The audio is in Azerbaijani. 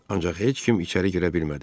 Ancaq heç kim içəri girə bilmədi.